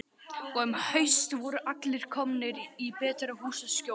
Og um haustið voru allir komnir í betra húsaskjól.